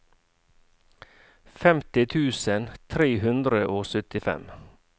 femti tusen tre hundre og syttifem